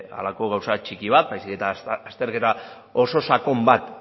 halako gauza txiki bat baizik eta azterketa oso sakon bat